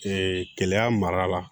kɛlɛya mara la